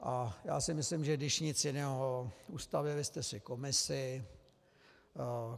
A já si myslím, že když nic jiného, ustavili jste si komisi.